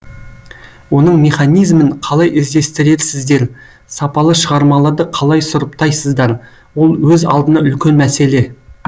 оның механизмін қалай іздестіресіздер сапалы шығармаларды қалай сұрыптайсыздар ол өз алдына үлкен мәселе